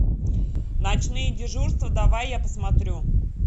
ночные дежурства давай я посмотрю